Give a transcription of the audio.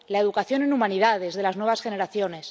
La educación en humanidades de las nuevas generaciones.